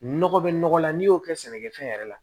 Nɔgɔ be nɔgɔ la n'i y'o kɛ sɛnɛkɛfɛn yɛrɛ la